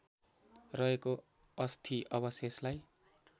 रहेको अस्थि अवशेषलाई